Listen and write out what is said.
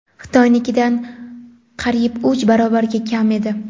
Xitoynikidan qariyb uch barobarga kam edi.